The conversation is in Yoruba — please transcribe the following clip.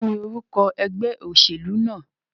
Kíní orúko egbé òsèlú náà?